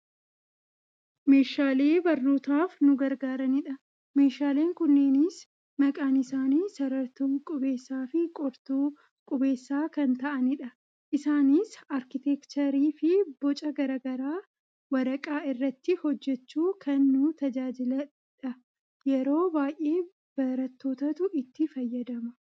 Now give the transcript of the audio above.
Meeshaalee barnootaaf nu gargaaranidha. Meeshaalee kunneenis maqaan isaanii; sarartuu, qubeessaa fi qortuu qubeessaa kan ta'anidha. Isaanis aarkitekchariifi boca gara garaa waraqaa irratti hojjachuu kan nu tajaajiludha. Yeroo baayyee barattootatu itti fayyadama.